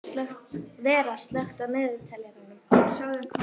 Vera, slökktu á niðurteljaranum.